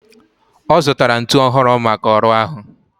Ọ zụtara ntu ọhụrụ maka ọrụ ahụ